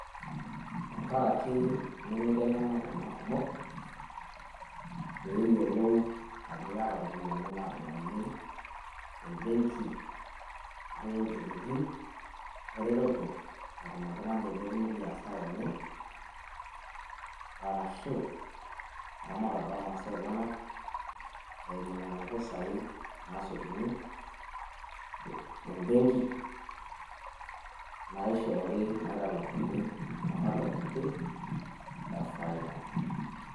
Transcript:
Tenkaraki nemeiteng`ena iltung`anak kumok pee eyiolou ajo keeta irropiyiani naadumuni te mbenki ashu too ilturruri, eretoto natum oltung`ani ailepunyie biashara enye. Oh arashu eramatare oo masaa enyenak eimu nena pisai naasotuni te mbenki naishoori naitalakuni ematua kiti e faida.